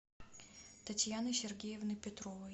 татьяны сергеевны петровой